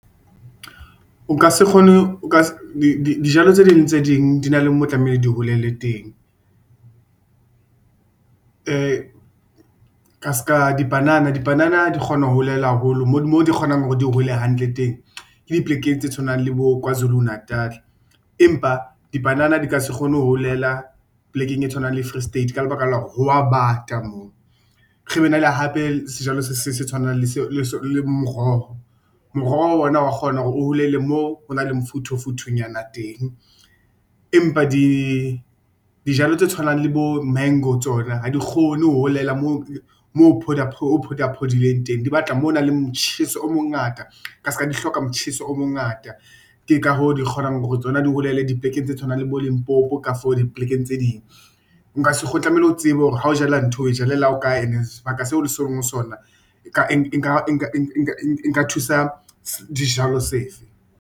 O ka se kgone dijalo tse ding le tse ding di na le moo tlamehile di holele teng. Ka ska dibanana, dibanana di kgona ho holela haholo moo di kgonang hore di hole hantle teng, ke di plekeng tse tshwanang le bo KwaZulu-Natal empa dibanana di ka se kgone ho holela plekeng e tshwanang le Free State ka lebaka la hore ho wa bata moo, re be na le hape sejalo se tshwanang le moroho. Moroho ona wa kgona hore o holele moo ho nang le mofuthu-futhunyana teng, empa di dijalo tse tshwanang le bo-mango tsona ha di kgone ho holela moo phola phodileng teng di batla moo ho nang le motjheso o mongata ka ska di hloka motjheso o mongata, ke ka hoo di kgonang hore tsona di holele di plekeng tse tshwanang le bo Limpopo ka for diplekeng tse ding. Nka se tlamehile o tsebe hore ha o jala ntho o e ja lela ho kae and-e sebaka seo o leng ho sona. Nka thusa dijalo sefe.